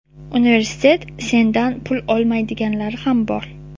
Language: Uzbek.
universitet sendan pul olmaydiganlari ham bor.